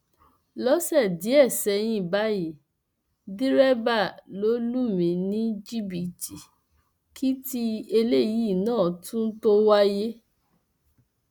lọsẹ díẹ sẹyìn báyìí dẹrẹbà ló lù mí ní jìbìtì kí tí eléyìí náà tún tóó wáyé